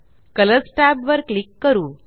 colours tab वर click करू